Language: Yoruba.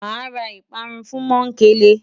Màá ra ìparun fún Mọ́ńkele.